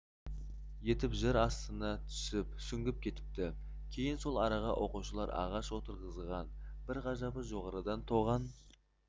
етіп жер астына сүңгіп кетіпті кейін сол араға оқушылар ағаш отырғызған бір ғажабы жоғарыдан тоған